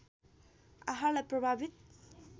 आहारलाई प्रभावित